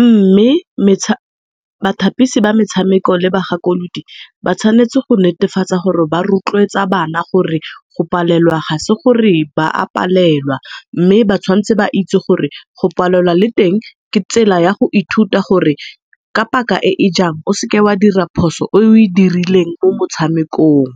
mme bathapisi ba metshameko le ba gakoludi ba tshwanetse go netefatsa gore ba rotloetsa bana gore go palelwa ga se gore ba a palelwa. Mme tshawanetse ba itse gore go palelwa le teng ke tsela ya go ithuta gore ka paka e e jaana, o seka wa dira phoso e o e dirileng mo motshamekong.